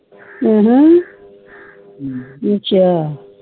ਜਾ